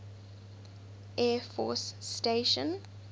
air force station